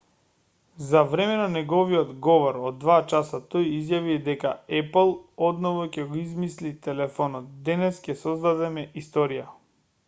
за време на неговиот говор од 2 часа тој изјави дека епл одново ќе го измисли телефонот денес ќе создадеме историја